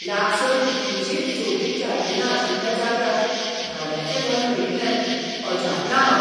लागसार कितलींशींच सोबीत जार्दीनां आशिल्ल्या जाग्यार भाड्याचें घर मेळिल्ल्यान अजापलां हांव.